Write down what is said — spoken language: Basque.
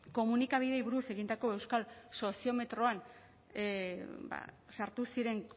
komunikabideei buruz egindako euskal soziometroan sartu ziren